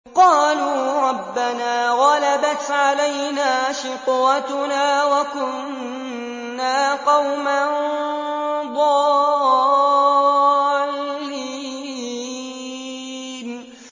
قَالُوا رَبَّنَا غَلَبَتْ عَلَيْنَا شِقْوَتُنَا وَكُنَّا قَوْمًا ضَالِّينَ